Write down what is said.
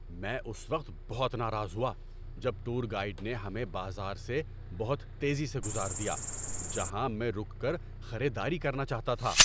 میں اس وقت بہت ناراض ہوا جب ٹور گائیڈ نے ہمیں بازار سے بہت تیزی سے گزار دیا جہاں میں رک کر خریداری کرنا چاہتا تھا۔